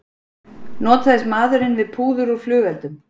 Notaðist maðurinn við púður úr flugeldum